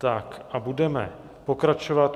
Tak a budeme pokračovat.